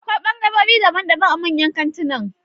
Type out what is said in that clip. Akwai ɓangarorin daban daban a manyan kantinan